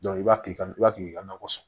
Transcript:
i b'a tigi i b'a to i ka nakɔ sɔn